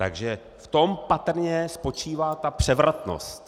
Takže v tom patrně spočívá ta převratnost.